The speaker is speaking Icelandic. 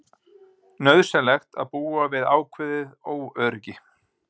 Nauðsynlegt að búa við ákveðið óöryggi